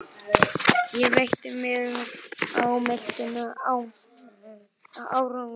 Ég velti mér á meltuna en án árangurs.